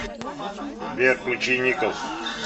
сбер включи никос